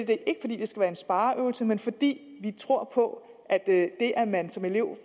det skal være en spareøvelse men fordi vi tror på at det at man som elev